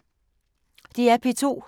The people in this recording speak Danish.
DR P2